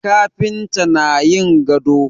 Kafintan na yin gado